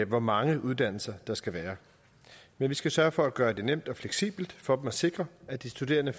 hvor mange uddannelser der skal være men vi skal sørge for at gøre det nemt og fleksibelt for dem at sikre at de studerende